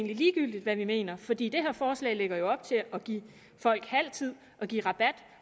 ligegyldigt hvad vi mener fordi det her forslag lægger op til at give folk halv tid og give rabat